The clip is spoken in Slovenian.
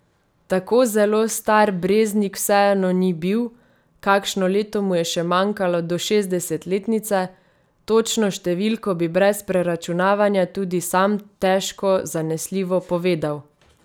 Tako zelo star Breznik vseeno ni bil, kakšno leto mu je še manjkalo do šestdesetletnice, točno številko bi brez preračunavanja tudi sam težko zanesljivo povedal.